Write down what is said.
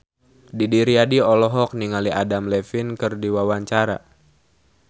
Didi Riyadi olohok ningali Adam Levine keur diwawancara